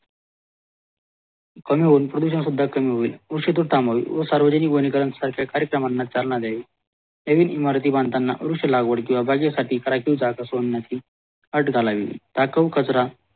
कमी होऊन प्रदूषण सुद्धा कमी होईल व सार्वजनिक कार्यक्रमांना चालणारे हेवी इमारती बांधतांना लागवड किव्हा बाजेसाठी राखीव जात असतांनाही अट घालावी